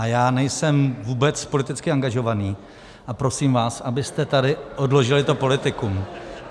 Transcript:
A já nejsem vůbec politicky angažovaný a prosím vás, abyste tady odložili to politikum.